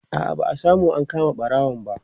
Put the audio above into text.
a'a ba'a samu an kama ɓarawon ba